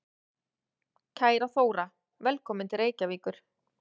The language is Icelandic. Kæra Þóra. Velkomin til Reykjavíkur.